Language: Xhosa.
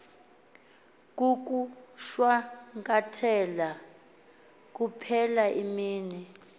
kukushwankathela kuphela imiba